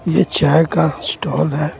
यह चाय का स्टॉल है.